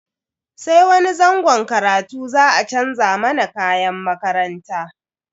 Sai wani zangon karatu za a chanza mana kayan makaranta.